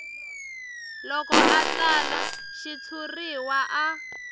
loko a tsala xitshuriwa a